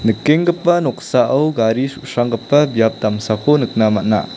nikenggipa noksao gari su·sranggipa biap damsako nikna man·a.